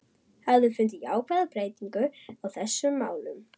Hafiði fundið jákvæða breytingu á þessum málum?